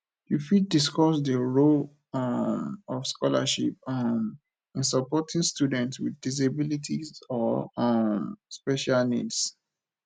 you fit discuss di role um of scholarships um in supporting students with disabilities or um special needs